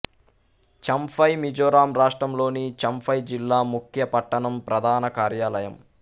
చంఫై మిజోరాం రాష్ట్రంలోని చంఫై జిల్లా ముఖ్య పట్టణం ప్రధాన కార్యాలయం